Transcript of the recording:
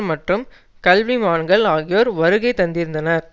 மற்றும் கல்விமான்கள் ஆகியோர் வருகை தந்திருந்தனர்